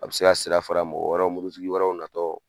A bɛ se ka sira fara mɔgɔ wɛrɛw mobilitigi wɛrɛw natɔ